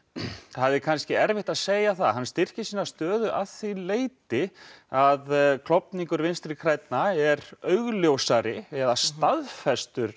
það er kannski erfitt að segja hann styrkir sína stöðu að því leyti að klofningur Vinstri grænna er augljósari eða staðfestur